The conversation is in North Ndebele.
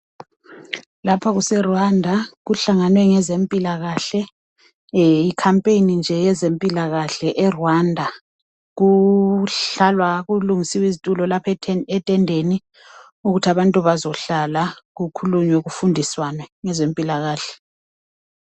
Lapha kuse Rwanda kuhlangenwe ngezempilakahle i campaign nje yezempilakahle eRwanda kuhlalwa Kulungisiwe izitulo lapho etendeni ukuthi kuhlalwe phansi kukhulunywane ngezempilakahle